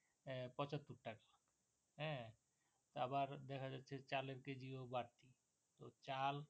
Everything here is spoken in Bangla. আবার দেখা যাচ্ছে যে চালের কেজি ও বাড়তি